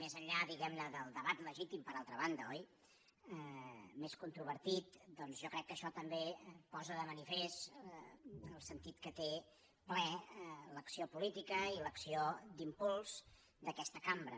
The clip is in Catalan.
més enllà diguemne del debat legítim per altra banda oi més controvertit jo crec que això també posa de manifest el sentit que té ple l’acció política i l’acció d’impuls d’aquesta cambra